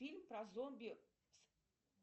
фильм про зомби